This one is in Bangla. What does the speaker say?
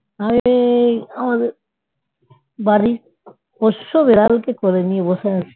পোষ্য বিড়ালকে কোলে নিয়ে বসে আছি